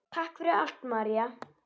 Takk fyrir allt, María.